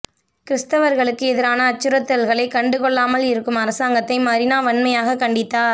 கிறிஸ்துவர்களுக்கு எதிரான அச்சுறுத்தல்களை கண்டுகொள்ளாமல் இருக்கும் அரசாங்கத்தை மரினா வன்மையாகக் கண்டித்தார்